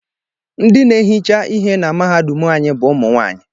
Ndị na-ehicha ihe na mahadum anyị bụ ụmụnwaanyị.